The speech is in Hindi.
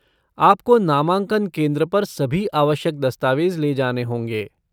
आपको नामांकन केंद्र पर सभी आवश्यक दस्तावेज ले जाने होंगे।